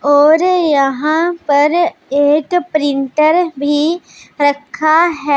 और यहां पर एक प्रिंटर भी रखा है।